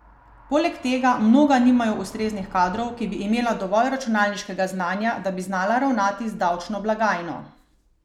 Poleg tega mnoga nimajo ustreznih kadrov, ki bi imela dovolj računalniškega znanja, da bi znala ravnati z davčno blagajno.